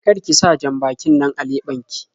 Kar ki sa jan-bakin nan a leɓen ki.